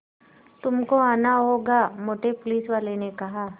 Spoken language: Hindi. तुमको आना होगा मोटे पुलिसवाले ने कहा